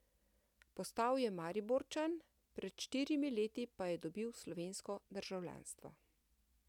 Postal je Mariborčan, pred štirimi leti pa je dobil slovensko državljanstvo.